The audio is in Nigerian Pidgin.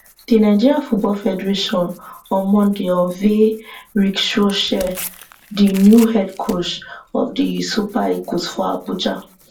di nigeria football federation on monday unveil ric skou chelle di new head coach of di super eagles for abuja